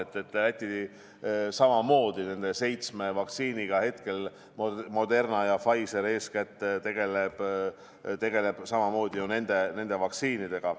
Läti arvestab samamoodi nende seitsme vaktsiiniga, eeskätt Moderna ja Pfizeri omadega.